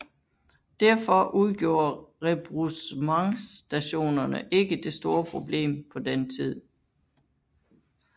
Derfor udgjorde rebroussementsstationerne ikke det store problem på den tid